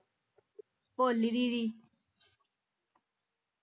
ਭੋਲੀ ਦੀਦੀ